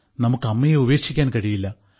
നമുക്ക് അമ്മയെ ഉപേക്ഷിക്കാൻ കഴിയില്ല